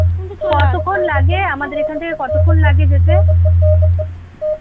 কতক্ষন লাগে আমাদের এখান থেকে কতক্ষন লাগে যেতে?